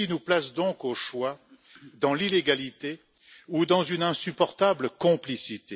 Cela nous place donc, au choix, dans l'illégalité ou dans une insupportable complicité.